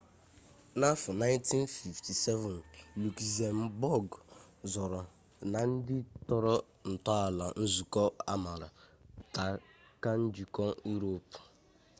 n'afọ 1957 lukzembọg sooro na ndị tọrọ ntọala nzukọ amaara ta ka njikọ iroopu